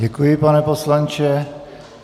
Děkuji, pane poslanče.